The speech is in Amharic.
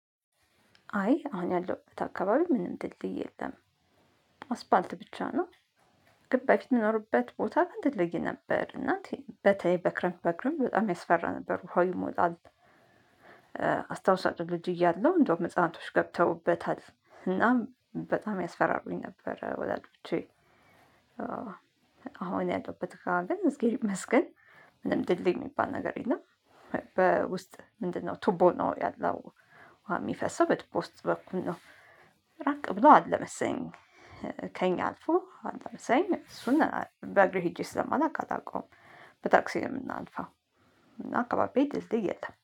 አይ አሁን ያለሁበት አካባቢ ምንም ድልድይ የለም አስፓልት ብቻ ነው። ግን በፊት የሚኖርበት ቦታ ድልድይ ነበር እና በተለይ በክረምት በክረምት በጣም ያስፈራ ነበር ውሃው ይሞላል። አስታውሳችሁ ልጅ እያለሁ እንደውም ህፃንቶች ገብተውበታል እናም በጣም ያስፈራሩኝ ነበር። ወላጆቼ አሁን ያለበት ጋ ግን እዝጌር ይመስገን ምንም ድልድይ የሚባል ነገር የለም። በውስጥ ምንድነው ቱቦ ነው ያለው። ውሃ የሚፈሰው በቱቦ ውስጥ በኩል ነው። ራቅ ብሎ አለመሰለኝ። ከኛ አልፎ አለመሰኝ እሱን በእግሬ ሄጄ ስለማላውቅ አታውቀውም። በታክሲ ነው የምናልፋው። እና አካባቢ ድልድይ የለም